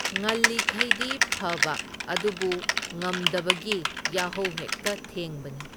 ꯉꯜꯂꯤꯈꯩꯗꯤ ꯐꯕ ꯑꯗꯨꯕꯨ ꯉꯝꯗꯕꯒꯤ ꯌꯥꯍꯧ ꯍꯦꯛꯇ ꯊꯦꯡꯕꯅꯤ꯫